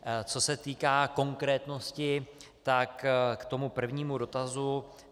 Co se týká konkrétnosti, tak k tomu prvnímu dotazu.